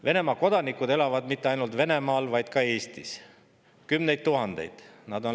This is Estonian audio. Venemaa kodanikud elavad mitte ainult Venemaal, vaid ka Eestis, kümned tuhanded kodanikud.